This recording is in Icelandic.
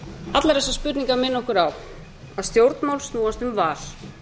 allar þessar spurningar minna okkur á að stjórnmál snúast um val